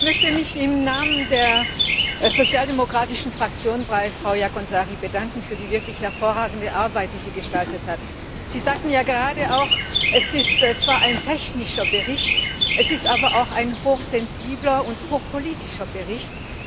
Ich möchte mich im Namen der sozialdemokratischen Fraktion bei Frau Jaakonsaari bedanken für die wirklich hervorragende Arbeit, die sie gestaltet hat. Sie sagten ja gerade auch, es ist zwar ein technischer Bericht, es ist aber auch ein hochsensibler und hochpolitischer Bericht.